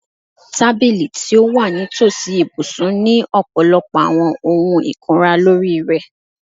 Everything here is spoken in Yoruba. Tabili ti o wa nitosi ibusun ni ọpọlọpọ awọn ohun ikunra lori rẹ